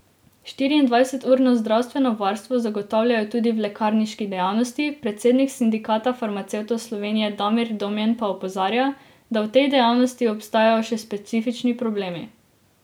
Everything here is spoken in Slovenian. Štiriindvajseturno zdravstveno varstvo zagotavljajo tudi v lekarniški dejavnosti, predsednik Sindikata farmacevtov Slovenije Damir Domjan pa opozarja, da v tej dejavnosti obstajajo še specifični problemi.